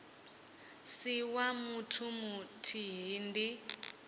si wa muthu muthihi ndi